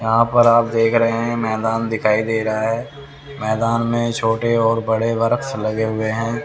यहां पर आप देख रे है मैदान दिखाई दे रा है मैदान में छोटे और बड़े वर्क्स लगे हुए हैं।